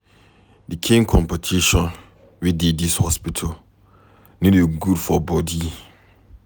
Di kain competition wey dey dis office no dey good for bodi